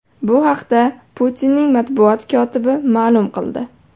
Bu haqda Putinning matbuot kotibi ma’lum qildi.